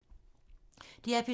DR P3